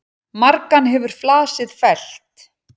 Margan hefur flasið fellt.